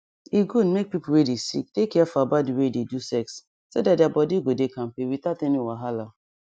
e good make people wey dey sick dey careful about the way they do sex so that their body go dey kampe without any wahala